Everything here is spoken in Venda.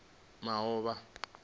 moaba